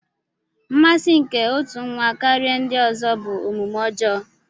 Mmasị nke otu nwa karịa ndị ọzọ bụ omume ọjọọ.